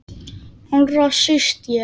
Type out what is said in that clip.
Allra síst ég!